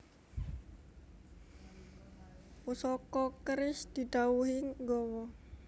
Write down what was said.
Pusaka keris didhawuhi nggawa